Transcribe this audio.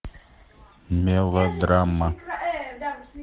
мелодрама